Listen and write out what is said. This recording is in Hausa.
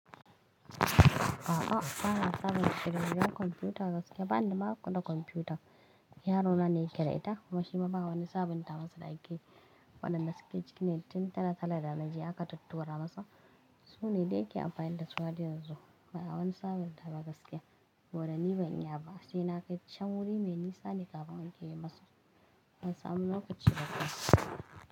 A'a bana sabunta da komfiyuta gaskiya, banda ma komfiyuta. Yaro na ne yake da ita kuma shi ma ba wani sabunta masa da yake yi. Wannan da suke cikin netin tara kala da na je aka tattura masa. Su ne dai yake amfani da suwa har yanzu. Bana wani sabunta wa gaskiya. Saboda ni ban yi ba sai na kai can wuri me nisa ne kafin akeyi masa. Ban samu lokaci ba ka.